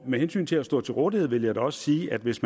med hensyn til at stå til rådighed vil jeg da også sige at hvis